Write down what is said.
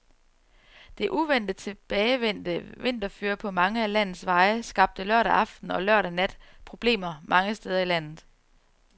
Det uventet tilbagevendte vinterføre på mange af landets veje skabte lørdag aften og lørdag nat problemer mange steder i landet.